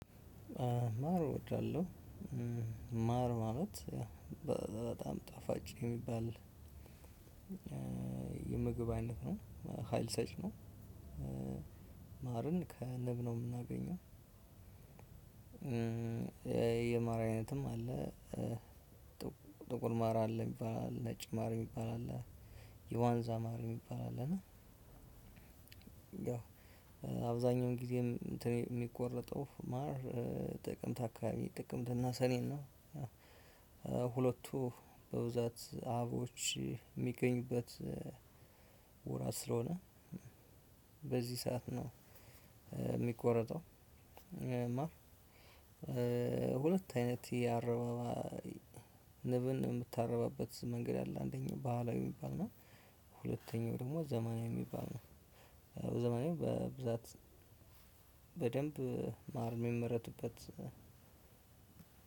ማር እወዳለሁ ማር ማለት በጣም ጣፋጭ የሚባል የምግብ አይነት ነው ሀይል ሰጭ ነው። ማርን ነው የምናገኘው። የማር አይነትም አለ። ጥቁር ማር አለ የሚባል አለ ነጭ ማር የሚባል አለ። የዋንዛ ማር የሚባል አለ እና አብዛኛውን ጊዜ የሚቆረጠው ማር ጥቅምት አካባቢ ጥቅምት እና ሰኔን ነው። ሁለቱ በብዛት አቦች የሚገኙበት ወራት ስለሆነ በዚህ ሰዓት ነው። የሚቆረጠው ማር። ሁለት አይነት የአረባባይ ንብን የምታረባበት መንገድ አለ። አንደኛው ባህላዊ የሚባል እና ሁለተኛው ደግሞ ዘመናዊ የሚባል ነው። ዘመናዊ በብዛት በደንብ ማርም ሚመረቱበት